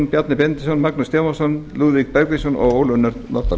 bjarni benediktsson magnús stefánsson lúðvík bergvinsson og ólöf nordal